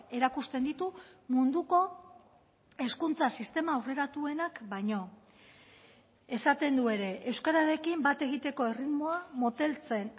erakusten ditu munduko hezkuntza sistema aurreratuenak baino esaten du ere euskararekin bat egiteko erritmoa moteltzen